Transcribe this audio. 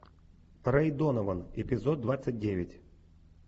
рэй донован эпизод двадцать девять